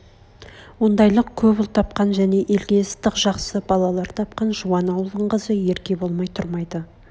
ондайлық көп ұл тапқан және елге ыстық жақсы балалар тапқан жуан ауылдың қызы ерке болмай тұрмайды